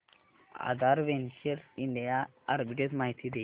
आधार ventures India limited arbitrage माहिती दे